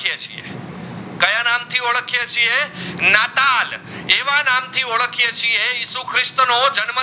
નાતાલ એવા નામ થી ઓડખાએ છીયે ઇસુ ક્રિસ્ત નો જન્મ